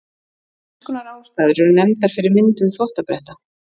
Þrenns konar ástæður eru nefndar fyrir myndun þvottabretta.